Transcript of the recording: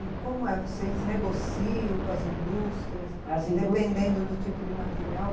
E como é, vocês negociam com as indústrias, dependendo do tipo de material?